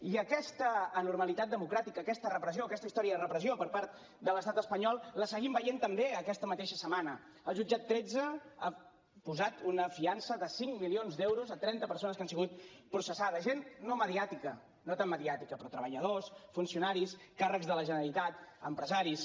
i aquesta anormalitat democràtica aquesta repressió aquesta història de repressió per part de l’estat espanyol la seguim veient també aquesta mateixa setmana el jutjat tretze ha posat una fiança de cinc milions d’euros a trenta persones que han sigut processades gent no mediàtica no tan mediàtica però treballadors funcionaris càrrecs de la generalitat empresaris